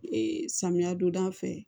Ee samiya don da fɛ